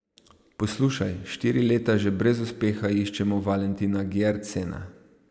Poslušaj, štiri leta že brez uspeha iščemo Valentina Gjertsena.